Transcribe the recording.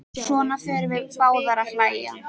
Svo förum við báðar að hlæja.